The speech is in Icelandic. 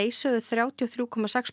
sögðu þrjátíu og þrjú komma sex